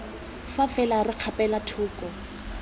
fa fela re kgapela thoko